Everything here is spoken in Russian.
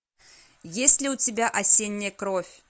есть ли у тебя осенняя кровь